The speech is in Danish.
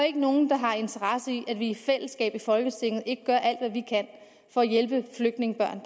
ikke nogen der har interesse i at vi i fællesskab i folketinget ikke gør alt hvad vi kan for at hjælpe flygtningebørn